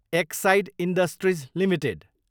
Exide industries Ltd